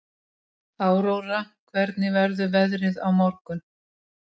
Áróra, hvernig verður veðrið á morgun?